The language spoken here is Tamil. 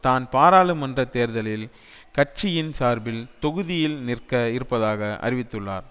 தான் பாராளுமன்ற தேர்தளில் கட்சியின் சார்பில் தொகுதியில் நிற்க இருப்பதாக அறிவித்துள்ளார்